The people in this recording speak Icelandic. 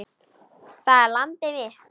Það er landið mitt!